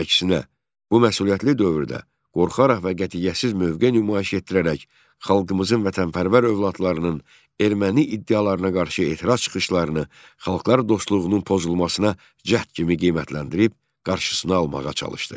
Əksinə, bu məsuliyyətli dövrdə qorxaraq və qətiyyətsiz mövqe nümayiş etdirərək xalqımızın vətənpərvər övladlarının erməni iddialarına qarşı etiraz çıxışlarını xalqlar dostluğunun pozulmasına cəhd kimi qiymətləndirib, qarşısını almağa çalışdı.